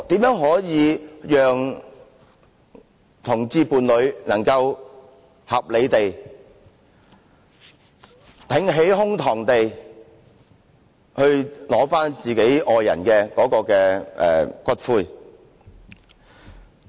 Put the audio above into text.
如何讓同性戀伴侶能夠合理地、挺起胸膛地取回其愛人的骨灰？